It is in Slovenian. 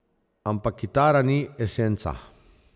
Ampak kitara ni esenca.